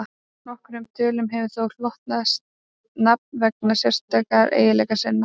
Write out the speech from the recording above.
nokkrum tölum hefur þó hlotnast nafn vegna sérstakra eiginleika sinna